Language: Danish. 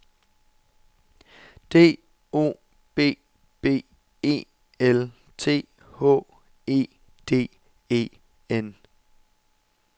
D O B B E L T H E D E N